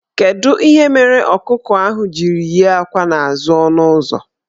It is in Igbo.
Kedu ihe mere ọkụkọ ahụ jiri yie akwa n' azụ ọnụụzọ?